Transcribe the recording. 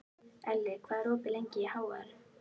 Elli, hvað er opið lengi í HR?